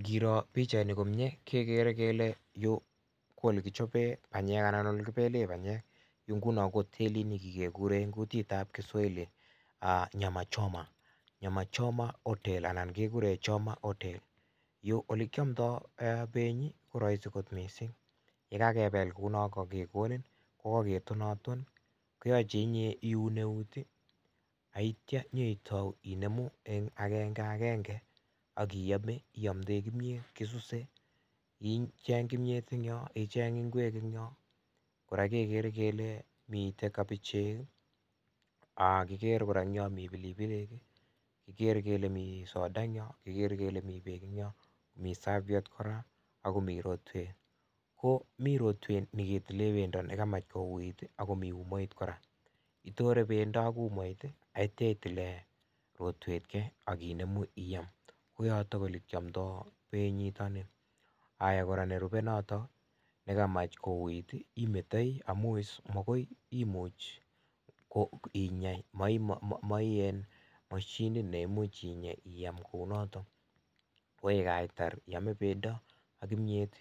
Ngiro pikchaini komnyee kegere kele yu ko ole kichapee panyek anan ole kipele panyek, yu nguno ko hotelit nengiger kigure eng' kutit ab kiswahili "nyama choma" nyama choma hotel anan kegure choma hotel. Ole kiamdoy penyi ko rahisi akot mising' yekagepel kou no akegonin kowaketonaton akoyache inye iun keunek neityo inyeitou Inemu eng' agenge agenge akiame iamdoe kimnyet, kisusey icheny kimnyet ing' yo icheny ng'ngwek ing' yo, koraa kegele kele mite kabichek, akiger koraa ing' yo pilipilik, kigere kele mi soda eng yo, kigere kele mi peek ing' yo, mi saviet koraa akomii rotwet, ko mi rotwet neketile panyek nekamach ko uit akomii umait koraa, itore pendo ak umait neityo itile rotwet key akinemu iyam koyotok ole kiamdoy penyi nitok ni, koraa nerupe notok nekamach kouit imetoi amun makoy imuch ko inyei mae mashinit nemuch inyey iyam kou notok wey kaitar iyame pendo ak kimnyet